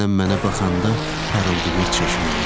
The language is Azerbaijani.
Nənəm mənə baxanda parıldayır çeşməyi.